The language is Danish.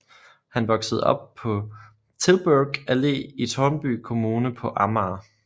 Han voksede op på Tilburg Allé i Tårnby kommune på Amager